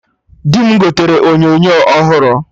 Di m gotere onyonyo ọhụrụ